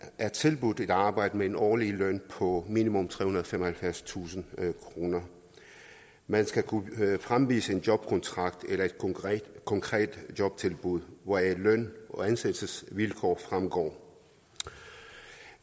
er tilbudt et arbejde med en årlig løn på minimum trehundrede og femoghalvfjerdstusind kroner man skal kunne fremvise en jobkontrakt eller et konkret konkret jobtilbud hvoraf løn og ansættelsesvilkår fremgår